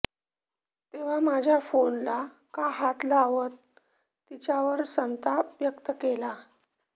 तेव्हा माझ्या फोनला का हात लावत तिच्यावर संताप व्यक्त केला